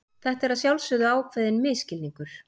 Þetta er að sjálfsögðu ákveðinn misskilningur.